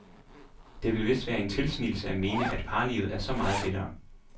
Det ville vist være en tilsnigelse at mene, at parlivet er så meget lettere.